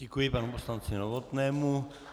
Děkuji panu poslanci Novotnému.